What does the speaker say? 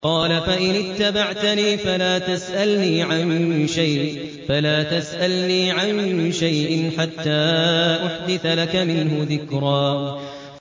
قَالَ فَإِنِ اتَّبَعْتَنِي فَلَا تَسْأَلْنِي عَن شَيْءٍ حَتَّىٰ أُحْدِثَ لَكَ مِنْهُ ذِكْرًا